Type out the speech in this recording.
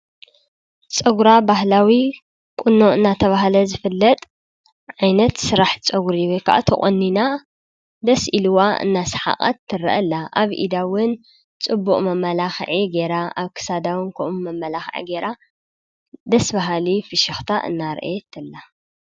ጸጕራ ባሕላዊ ቊኖዕ እናተብሃለ ዝፍለጥ ዒይነት ሥራሕ ጸጕሪዮ ከዓ ተቖኒና ደስኢልዋ እናሰሓቐት ትርአላ ኣብ ኢዳውን ጽቡእ መመላኽዒ ገይራ ኣብክሳዳውን ክኡም መመላኽዐ ገይራ ደስበሃሊ ፍሽኽታ እናርአየትላ